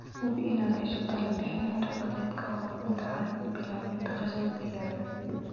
Hubi inaad hesho talo-bixin xirfadeed ka hor inta aanad bilaabin dhaqashada digaagga.